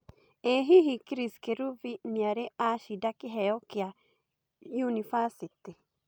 ĩ hihi Chris Kirubi nĩ arĩ acĩnda Kĩheo kia nyũnibacĩtĩ